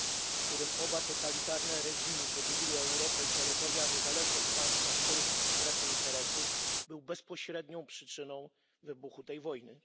w którym oba totalitarne reżimy podzieliły Europę i terytoria niezależnych państw na swoje strefy interesów, był bezpośrednią przyczyną wybuchu tej wojny.